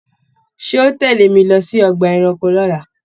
Ṣé o tẹle mí lọ sí ọgbà ẹranko l'ola?